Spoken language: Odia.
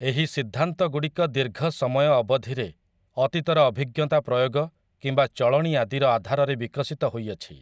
ଏହି ସିଦ୍ଧାନ୍ତଗୁଡ଼ିକ ଦୀର୍ଘ ସମୟ ଅବଧିରେ ଅତୀତର ଅଭିଜ୍ଞତା ପ୍ରୟୋଗ କିମ୍ବା ଚଳଣି ଆଦିର ଆଧାରରେ ବିକଶିତ ହୋଇଅଛି ।